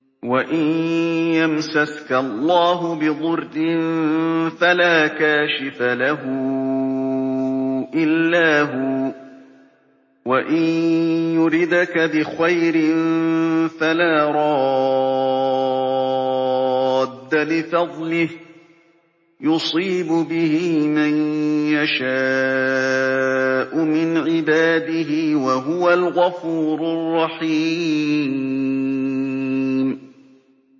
وَإِن يَمْسَسْكَ اللَّهُ بِضُرٍّ فَلَا كَاشِفَ لَهُ إِلَّا هُوَ ۖ وَإِن يُرِدْكَ بِخَيْرٍ فَلَا رَادَّ لِفَضْلِهِ ۚ يُصِيبُ بِهِ مَن يَشَاءُ مِنْ عِبَادِهِ ۚ وَهُوَ الْغَفُورُ الرَّحِيمُ